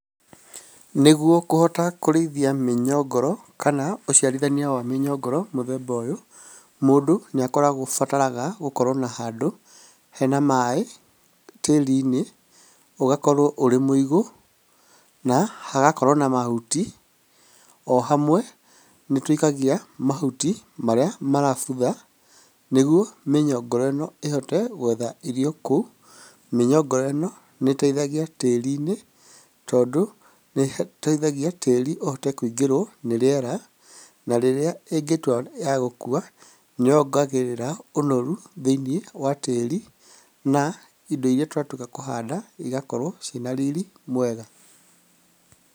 Nĩguo kũhota kũrĩithia mĩnyongoro kana ũciarithania wa mĩnyongoro mũthemba ũyũ, mũndũ nĩabataraga gũkorwo na handũ hena maaĩ tĩĩri-inĩ ũgakorwo ũrĩ mũigũ na hagakorwo na mahuti, o hamwe nĩtũikagia mahuti marĩa marabutha nĩguo mĩnyongoro ĩno ĩhote gũetha irio kũu. Mĩnyongoro ĩno nĩ ĩteithagia tĩĩri-inĩ, tondũ nĩĩteithagia tĩĩri ũhote kũingĩrwo nĩ rĩera, na rĩrĩa ĩngĩtua nĩ ya gũkua nĩ yongagĩrĩra ũnoru thĩiniĩ wa tĩĩri na indo irĩa twatuĩka akũhanda cigakorwo ciĩ na riri mwega.